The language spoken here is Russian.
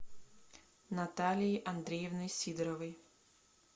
наталией андреевной сидоровой